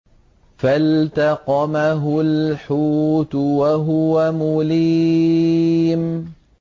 فَالْتَقَمَهُ الْحُوتُ وَهُوَ مُلِيمٌ